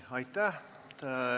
Aitäh!